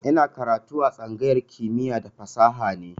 Ina karatu a tsangayar kimiya da fasaha ne